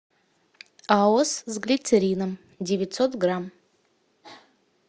аос с глицерином девятьсот грамм